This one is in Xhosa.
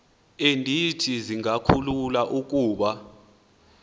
endithi zingakhulula ukuba